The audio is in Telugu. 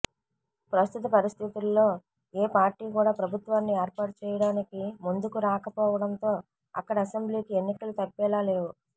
ప్రస్తుత పరిస్థితుల్లో ఏ పార్టీ కూడా ప్రభుత్వాన్ని ఏర్పాటు చేయడానికి ముందుకు రాకపోవడంతో అక్కడి అసెంబ్లీకి ఎన్నికలు తప్పేలా లేవు